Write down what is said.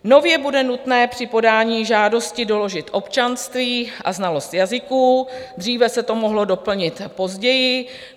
Nově bude nutné při podání žádosti doložit občanství a znalost jazyků, dříve se to mohlo doplnit později.